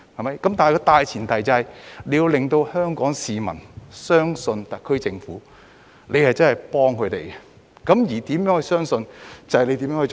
然而，大前提是政府要令香港市民相信，特區政府真的是在幫助他們。